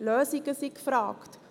Lösungen sind gefragt.